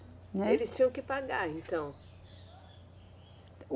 Né. Eles tinham que pagar então?